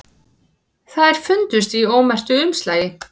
Þær fundust í ómerktu umslagi